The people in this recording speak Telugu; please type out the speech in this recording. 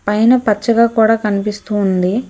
పైన పచ్చగా కూడా కనిపిస్తూ ఉంది.